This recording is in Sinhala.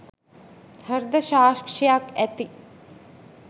හෘද සාක්ෂියක් ඇති